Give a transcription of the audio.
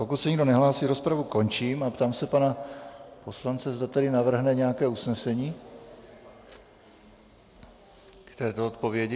Pokud se nikdo nehlásí, rozpravu končím a ptám se pana poslance, zda tedy navrhne nějaké usnesení k této odpovědi.